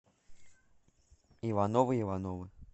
ивановы ивановы